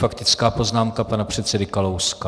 Faktická poznámka pana předsedy Kalouska.